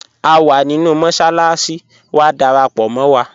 À wà nínu mọ́ṣaláṣi, wà dáràpọ̀ mọ́ wa